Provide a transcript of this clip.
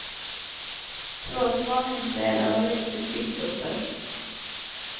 Två spaningsledare har gjort sitt yttersta.